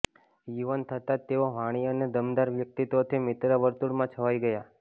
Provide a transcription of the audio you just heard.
યુવાન થતાં જ તેઓ વાણી અને દમદાર વ્યક્તિત્વથી મિત્રવર્તુળમાં છવાઈ ગયા